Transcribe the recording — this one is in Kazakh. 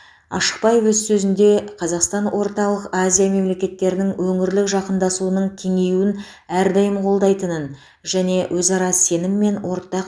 ашықбаев өз сөзінде қазақстан орталық азия мемлекеттерінің өңірлік жақындасуының кеңеюін әрдайым қолдайтынын және өзара сенім мен ортақ